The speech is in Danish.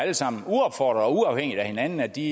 alle sammen uopfordret og uafhængigt af hinanden at de